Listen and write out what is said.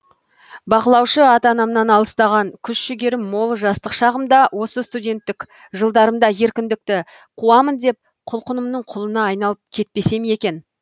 бақылаушы ата анамнан алыстаған күш жігерім мол жастық шағымда осы студенттік жылдарымда еркіндікті қуамын деп құлқынымның құлына айналып кетпесем екен